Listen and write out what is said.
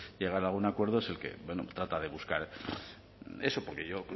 llegar a algún acuerdo es el que trata de buscar eso porque yo